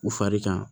U fari kan